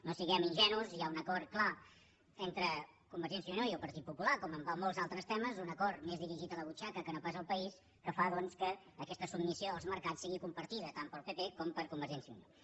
no siguem ingenus hi ha un acord clar entre convergència i unió i el partit popular com en molts altres temes un acord més dirigit a la butxaca que no pas al país que fa doncs que aquesta submissió als mercats sigui compartida tant pel pp com per convergència i unió